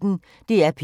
DR P1